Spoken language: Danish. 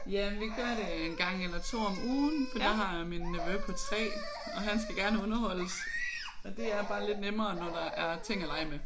Ja vi gør det øh en gang eller to om ugen for der har min nevø på 3 og han skal gerne underholdes og det er bare lidt nemmere når der er ting at lege med